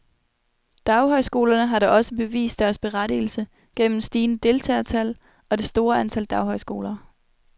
Daghøjskolerne har da også bevist deres berettigelse gennem stigende deltagertal, og det store antal daghøjskoler.